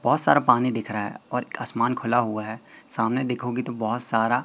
बहुत सारा पानी दिख रहा है और आसमान खुला हुआ है सामने देखोगी तो बहुत सारा--